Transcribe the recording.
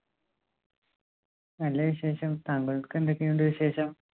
നല്ല വിശേഷം. താങ്കൾക്ക് എന്തൊക്കെയുണ്ട് വിശേഷം?